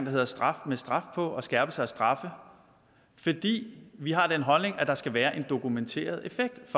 hedder straf med straf på og skærpelser af straffe fordi vi har den holdning at der skal være en dokumenteret effekt